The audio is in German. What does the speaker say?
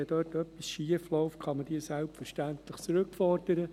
Wenn dort etwas schiefläuft, kann man diese selbstverständlich zurückfordern.